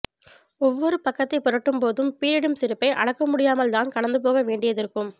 ஒவ்வொரு பக்கத்தை புரட்டும் போது பீறிடும் சிரிப்பை அடக்க முடியாமல் தான் கடந்து போக வேண்டியதிருக்கும்